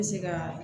Bɛ se ka